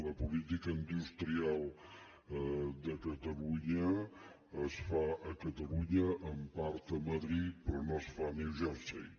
la política industri·al de catalunya es fa a catalunya en part a madrid però no es fa a new jersey